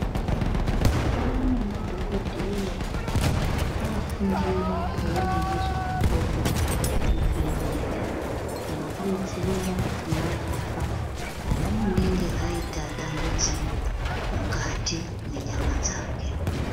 Kwaane madhokodheya akaofundira kuona ngezvemakodo kuvheneka nekudetsera kumarapa pane unenga aita dambudziko mukati mwenyama dzake.